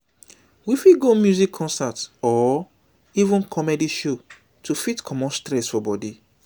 we fit go music concert or or even comedy show to fit comot stress for body